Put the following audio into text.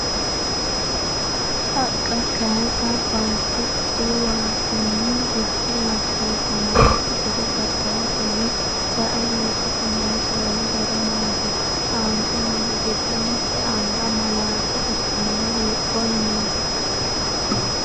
. Haqqa kayisa baatto diwatenni bushshu hoshooshamannokki gede gargaratenni sae ledote noosi wole horo maati? Aante noori giddo mitte anga malaate ikkinohu hiikkonneti?